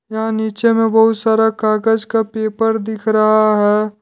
यहां नीचे में बहुत सारा कागज का पेपर दिख रहा है।